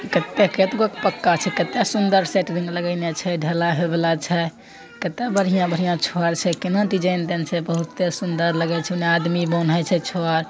कित्ते केतबू क पक्का छे। केतने सुंदर सेंट्रिंग लगाईना छे ।ढला हुला छे। केतना बढीया बढ़िया छड़ छे। केना डिज़ाइन देंन छे। बोहोते ही सुंदर लगे छे। हुने आदमी बांधे छे छड़।